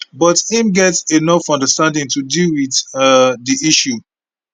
but im get enough understanding to deal wit um di issues